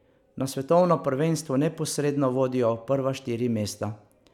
Na svetovno prvenstvo neposredno vodijo prva štiri mesta.